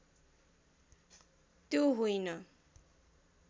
त्यो होइन